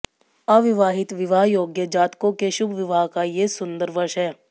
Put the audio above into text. अविवाहित विवाह योग्य जातकों के शुभ विवाह का ये सुंदर वर्ष है